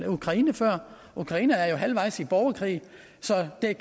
ukraine før ukraine er halvvejs i borgerkrig så kan